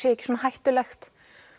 ekki hættulegt